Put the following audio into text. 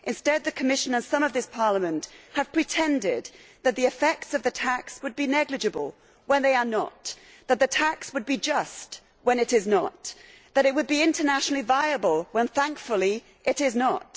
Instead, the Commission, and some in this Parliament, have pretended that the effects of the tax would be negligible, when they are not, that the tax would be just, when it is not, and that it would be internationally viable, when, thankfully, it is not.